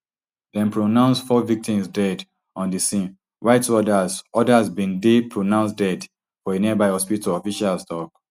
dem pronouce four victims dead on di scene while two odas odas bin dey pronounced dead for a nearby hospital officials tok